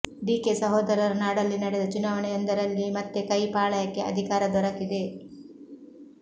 DK ಸಹೋದರರ ನಾಡಲ್ಲಿ ನಡೆದ ಚುನಾವಣೆಯೊಂದರಲ್ಲಿ ಮತ್ತೆ ಕೈ ಪಾಳಯಕ್ಕೆ ಅಧಿಕಾರ ದೊರಕಿದೆ